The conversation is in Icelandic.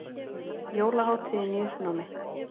Jólahátíðin í uppnámi